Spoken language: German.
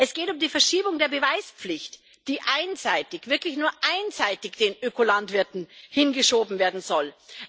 Es geht um die Verschiebung der Beweispflicht, die einseitig wirklich nur einseitig den Ökolandwirten hingeschoben werden sollen.